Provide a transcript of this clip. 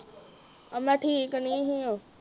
ਅਹ ਮੈ ਠੀਕ ਨੀ ਸੀ ਓ।